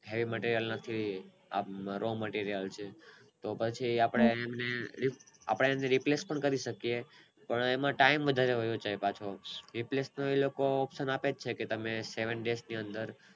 હૈ માટે અલગ થી આપણે તો પછી આપણે એને આપણે એને Replays પણ કરી શકીયે પણ એમાં ટાઇમ વધારેવાયો જાય પાછો Replays નો option પાછો આપે જ છે કે તમે સેવન Des ની અંદર